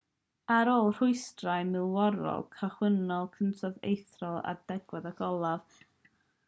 ar ôl rhwystrau milwrol cychwynnol cytunodd ethelred ar delerau ag olaf a ddychwelodd i norwy i geisio ennill ei deyrnas â llwyddiant cymysg